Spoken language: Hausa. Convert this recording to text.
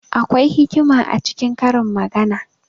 Akwai hikima a cikin karin magana.